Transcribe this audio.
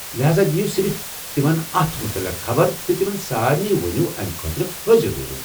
لہذا دِیو صرف تمن اتھ متعلق خبر تہٕ تِمن سارِنٕے ؤنِو امہِ خٲطرٕ حٲضِر روزُن ۔